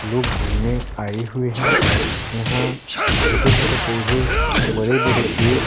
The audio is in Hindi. लोग घूमने आए हुए हैं यहाँ छोटे-छोटे पौधे बड़े-बड़े पेड़ --